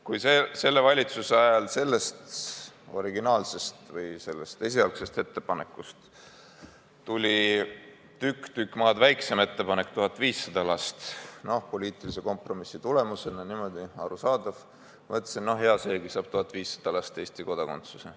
Kui selle valitsuse ajal tuli esialgsest ettepanekust tükk-tükk maad väiksem ettepanek, 1500 last – poliitilise kompromissi tulemusena arusaadav –, siis mõtlesin, et no hea seegi, 1500 last saab Eesti kodakondsuse.